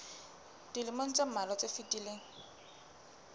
dilemong tse mmalwa tse fetileng